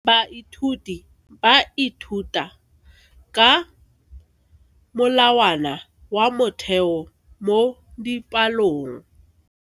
Baithuti ba ithuta ka molawana wa motheo mo dipalong.